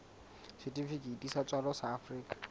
setifikeiti sa tswalo sa afrika